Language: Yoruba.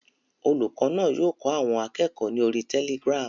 Olùkọ́ náà yóò kọ́ àwọn akẹ́kọ̀ọ́ ni orí Telegram.